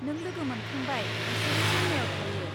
नों लोगो मोनखांबाय, बिसोरो चेन्नाइयाव थायो।